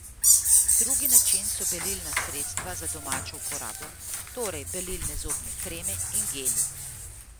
Drugi način so belilna sredstva za domačo uporabo, torej belilne zobne kreme in geli.